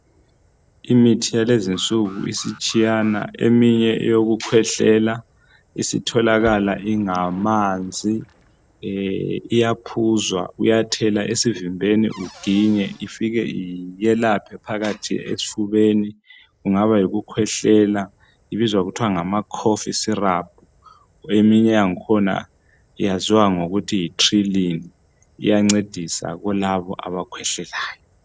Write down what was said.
Imithi yalezi insuku isitshiyana. Eminye eyokukhwehlela isitholakala ingamanzi. Iyaphuzwa. Uyathela esivimbeni, uginye. Ifike yelaphe phakathi esifubeni. Kungaba yikukhwehlela. Ibizwa kuthiwa ngama cough syrup. Eminye yakhona yaziwa ngokuthi yiTrilyn. Iyanceda kakhulu kulabo abakhwehlelayo.